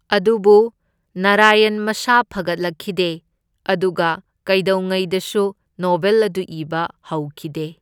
ꯑꯗꯨꯕꯨ ꯅꯥꯔꯥꯌꯟ ꯃꯁꯥ ꯐꯒꯠꯂꯛꯈꯤꯗꯦ ꯑꯗꯨꯒ ꯀꯩꯗꯧꯉꯩꯗꯁꯨ ꯅꯣꯚꯦꯜ ꯑꯗꯨ ꯏꯕ ꯍꯧꯈꯤꯗꯦ꯫